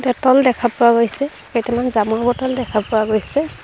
Dettol দেখা পোৱা গৈছে কেইটামান জামৰ বটল দেখা পোৱা গৈছে।